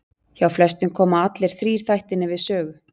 Hjá flestum koma allir þrír þættirnir við sögu.